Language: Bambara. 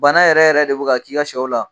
Bana yɛrɛ yɛrɛ de bɛ ka k'i ka shɛw la.